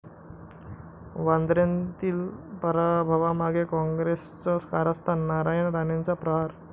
वांद्र्यातील पराभवामागे काँग्रेसचं कारस्थान, नारायण राणेंचा 'प्रहार'